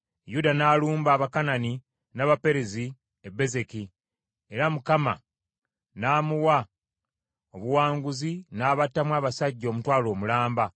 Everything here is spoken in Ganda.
Yuda n’alumba Abakanani n’Abaperezi e Bezeki era Mukama n’amuwa obuwanguzi n’abattamu abasajja omutwalo mulamba.